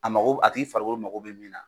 A mago a tigi farikolo mago bɛ min na.